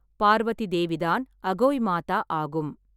பார்வதி தேவிதான் அகோய் மாதா ஆகும்.